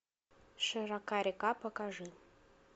широка река покажи